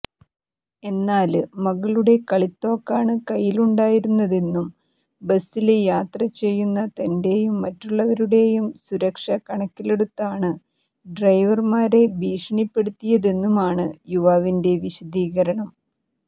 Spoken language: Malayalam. എന്നാല് മകളുടെ കളിത്തോക്കാണ് കൈയിലുണ്ടായിരുന്നതെന്നും ബസ്സില് യാത്ര ചെയ്യുന്ന തന്റെയും മറ്റുള്ളവരുടെയും സുരക്ഷ കണക്കിലെടുത്താണ് ഡ്രൈവര്മാരെ ഭീഷണിപ്പെടുത്തിയതെന്നുമാണ് യുവാവിന്റെ വിശദീകരണം